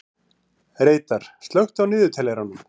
Reidar, slökktu á niðurteljaranum.